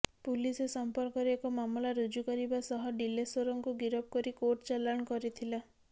police ଏ ସଂପର୍କରେ ଏକ ମାମଲା ରୁଜୁକରିବା ସହ ଡିଲେଶ୍ୱରଙ୍କୁ ଗିରଫ କରି କୋର୍ଟ ଚାଲାଣ କରିଥିଲା